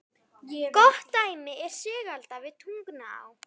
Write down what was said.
Gott dæmi er Sigalda við Tungnaá.